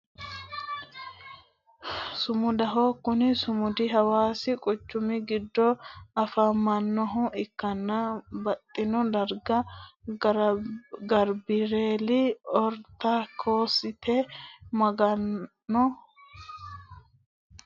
Sumudaho, kuni sumudi hawassi quchumi gida afamanohha ikkanna baxino dariga gebireeli oritodokisete maga'no alibaanni piyasaho yinani bayicho turufaatinni piyasa haadhe hadhu doogo aanna afamano